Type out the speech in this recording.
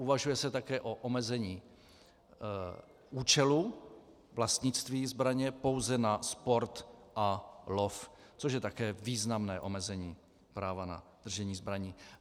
Uvažuje se také o omezení účelu vlastnictví zbraně pouze na sport a lov, což je také významné omezení práva na držení zbraní.